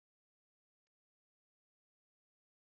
Eiðistorgi